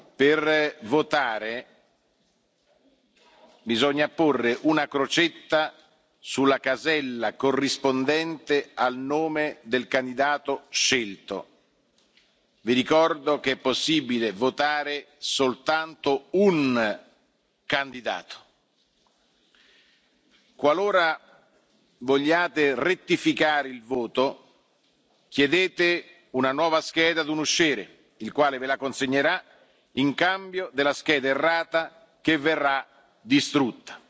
di sì. Per votare, bisogna apporre una crocetta sulla casella corrispondente al nome del candidato scelto. Vi ricordo che è possibile votare per un solo candidato. Qualora vogliate rettificare il voto, chiedete una nuova scheda a un usciere, il quale ve la consegnerà in cambio della scheda errata, che sarà